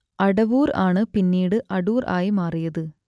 അടവൂർ ആണ് പിന്നീട് അടൂർ ആയി മാറിയത്